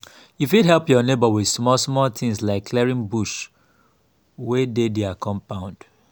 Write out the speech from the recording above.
you fit help your neighbour with small small things like clearing bush wey dey their compund